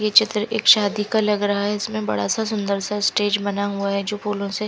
ये चित्र एक शादी का लग रहा है इसमें बड़ा सा सुन्दर सा स्टेज बना हुआ है जो फूलो से --